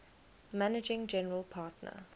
managing general partner